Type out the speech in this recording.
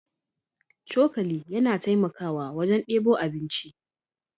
Cokali yana taimakawa wajen debo abinci.